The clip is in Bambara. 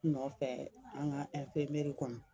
Nɔfɛ an ka kɔnɔ